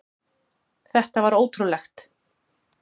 Þetta var ótrúlegt.